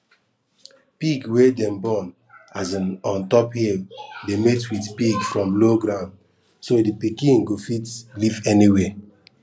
pig wey dem born um ontop hill dey mate with pig from low ground so the pikin go fit live anywhere